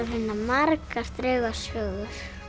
finna margar draugasögur